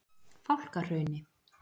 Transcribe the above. Fálkahrauni